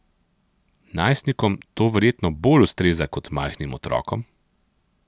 Najstnikom to verjetno bolj ustreza kot majhnim otrokom?